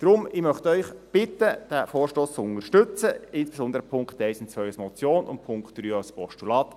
Deshalb möchte ich Sie bitten, diesen Vorstoss zu unterstützen, insbesondere die Punkte 1 und 2 als Motion und den Punkt 3 als Postulat.